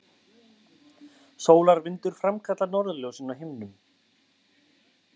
Sólarvindur framkallar norðurljósin á himninum